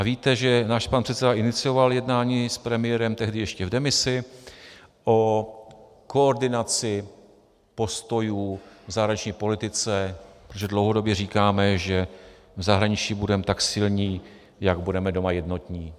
A víte, že náš pan předseda inicioval jednání s premiérem tehdy ještě v demisi o koordinaci postojů v zahraniční politice, protože dlouhodobě říkáme, že v zahraničí budeme tak silní, jak budeme doma jednotní.